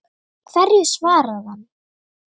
Hverju svaraði hann?